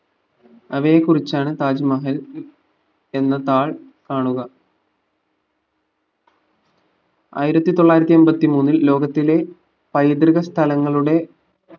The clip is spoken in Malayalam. അവയെ കുറിച്ചാണ് താജ്മഹൽ എന്ന താൾ കാണുക ആയിരത്തിത്തൊള്ളായിരത്തി എമ്പത്തി മൂന്നിൽ ലോകത്തിലെ പൈതൃക സ്ഥലങ്ങളുടെ